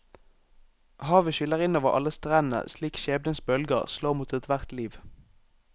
Havet skyller inn over alle strender slik skjebnens bølger slår mot ethvert liv.